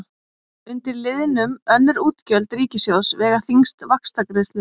Undir liðnum önnur útgjöld ríkissjóðs vega þyngst vaxtagreiðslur.